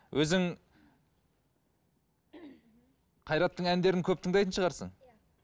өзің қайраттың әндерін көп тыңдайтын шығарсың